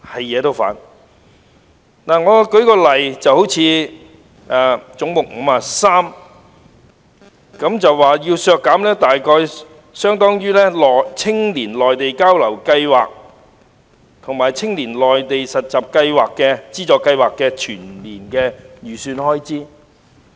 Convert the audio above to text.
以總目53為例，議員提出削減相當於青年內地交流資助計劃及青年內地實習資助計劃的全年預算開支。